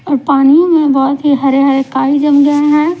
और पानी में बहुत ही हरे हरे काई जम गए हैं।